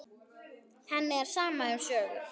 Henni er sama um sögur.